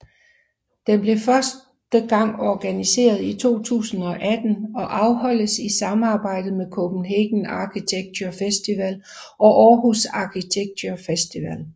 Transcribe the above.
Den blev første gang organiseret i 2018 og afholdes i samarbejde med Copenhagen Architecture Festival og Aarhus Architecture Festival